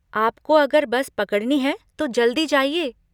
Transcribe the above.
आपको अगर बस पकड़नी है तो जल्दी जाइए।